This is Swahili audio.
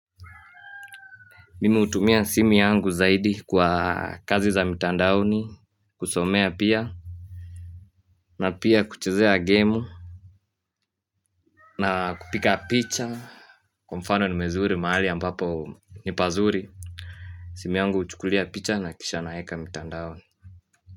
Mimu hutumia simu yangu zaidi kwa kazi za mitandaoni kusomea pia na pia kuchezea game na kupika picha Kwa mfano nimezuri mahnali ambapo ni pazuri Simi yangu huchukulia picha na kisha naeka mitandaoni.